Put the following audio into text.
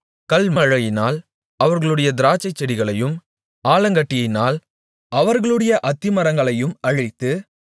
கல்மழையினால் அவர்களுடைய திராட்சைச்செடிகளையும் ஆலாங்கட்டியினால் அவர்களுடைய அத்திமரங்களையும் அழித்து